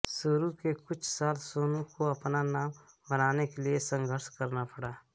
शुरु के कुछ साल सोनू को अपना नाम बनाने के लिए संघर्ष करना पड़ा